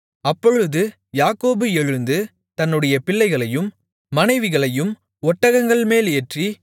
அப்பொழுது யாக்கோபு எழுந்து தன்னுடைய பிள்ளைகளையும் மனைவிகளையும் ஒட்டகங்கள்மேல் ஏற்றி